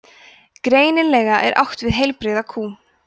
greinilega er átt við heilbrigða kú